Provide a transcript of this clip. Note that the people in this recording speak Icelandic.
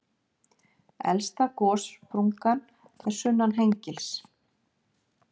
Elsta gossprungan er sunnan Hengils.